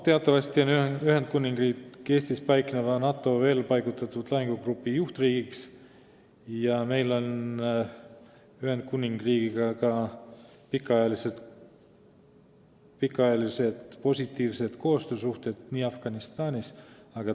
Teatavasti on Ühendkuningriik Eestis paikneva NATO lahingugrupi juhtriik ja meil on Ühendkuningriigiga ka pikaajalised positiivsed koostöösuhted Afganistanis.